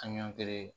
An ɲɔn kelen